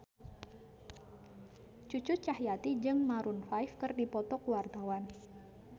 Cucu Cahyati jeung Maroon 5 keur dipoto ku wartawan